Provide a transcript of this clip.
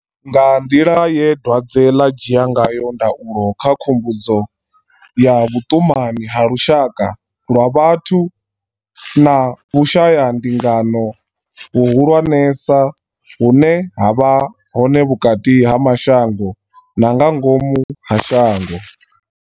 Nga nḓila ye dwadze ḽa dzhia ngayo ndaulo ndi khumbudzo ya vhuṱumani ha lushaka lwa vhathu na vhu shayandingano hu hulwanesa hune ha vha hone vhukati ha mashango na nga ngomu ha shango.